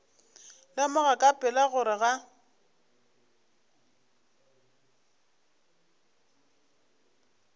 lemoga ka pela gore ga